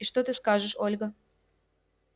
и что ты скажешь ольга